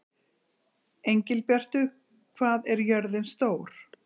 Engilbjartur, hvað er jörðin stór?